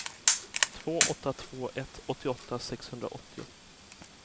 två åtta två ett åttioåtta sexhundraåttio